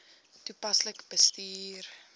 toepaslik bestuur